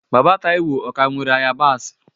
Baba Taiwo, o ka nwere ayabasị?